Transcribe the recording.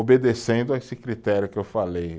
Obedecendo a esse critério que eu falei.